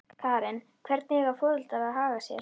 Karen: Hvernig eiga foreldrar að haga sér?